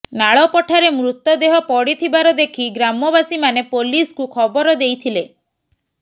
ନାଳ ପଠାରେ ମୃତଦେହ ପଡିଥିବାର ଦେଖି ଗ୍ରାମବାସୀମାନେ ପୋଲିସକୁ ଖବର ଦେଇଥିଲେ